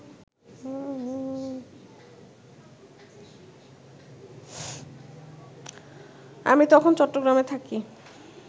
আমি তখন চট্টগ্রামে থাকি